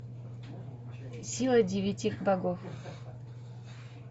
сила девяти богов